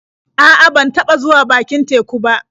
A'a, ban taɓa zuwa bakin teku ba.